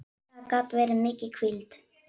Það gat verið mikil hvíld.